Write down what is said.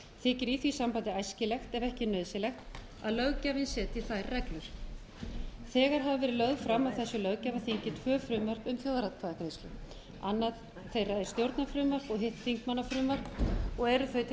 þykir í því sambandi æskilegt ef eða nauðsynlegt að löggjafinn setji þær reglur þegar hafa verið lögð fram á þessu löggjafarþingi tvö frumvörp um þjóðaratkvæðagreiðslur annað þeirra er stjórnarfrumvarp og hitt þingmannafrumvarp og eru þau til